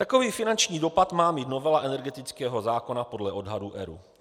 Takový finanční dopad má mít novela energetického zákona podle odhadů ERÚ.